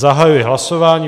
Zahajuji hlasování.